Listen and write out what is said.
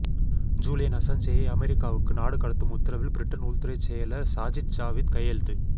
Julian அசாஞ்சேயை அமெரிக்காவுக்கு நாடுகடத்தும் உத்தரவில் பிரிட்டன் உள்துறைச் செயலர் சாஜித் ஜாவித் கையெழுத்து